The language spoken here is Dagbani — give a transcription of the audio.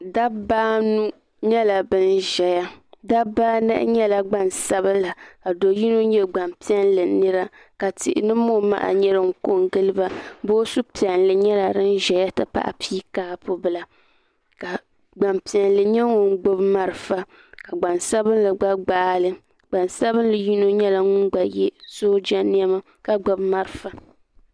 Dabba anu nyɛla bin ʒɛya dabba anahi nyɛla gbansabila ka do yino nyɛ gbanpill nira ka tihi ni mo maha nyɛ din ko n giliba boosu piɛlli nyɛla din ʒɛya n ti pahi piikaabu bila ka gbanpiɛla nyɛ ŋun gbubi marafa ka gbansabili gba gbaali gbansabili yino nyɛla ŋun yɛ sooja niɛma ka gbubi marafa